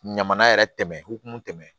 Ɲama na yɛrɛ tɛmɛ hokumu tɛmɛn